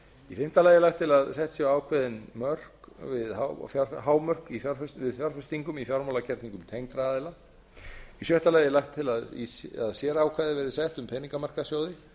í sjötta lagi er lagt til að sett verði ákveðin hámörk við fjárfestingum í fjármálagerningum tengdra aðila í sjöunda lagi er lagt til að sérákvæði verði sett um peningamarkaðssjóði